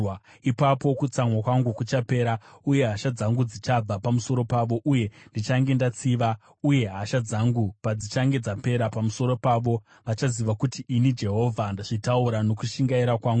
“Ipapo kutsamwa kwangu kuchapera uye hasha dzangu dzichabva pamusoro pavo, uye ndichange ndatsiva. Uye hasha dzangu padzichange dzapera pamusoro pavo, vachaziva kuti ini Jehovha ndazvitaura nokushingaira kwangu.